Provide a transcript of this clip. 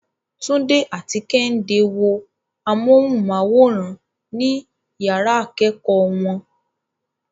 Tunde and Kehinde watch TV in their classroom.